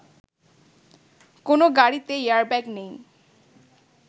কোনো গাড়িতে এয়ারব্যাগ নেই